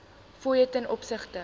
fooie ten opsigte